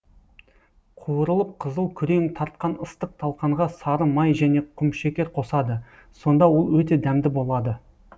қуырылып қызыл күрең тартқан ыстық талқанға сары май және құмшекер қосады сонда ол өте дәмді болады